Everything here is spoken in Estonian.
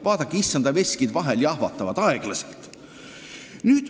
Vaadake, issanda veskid jahvatavad vahel aeglaselt.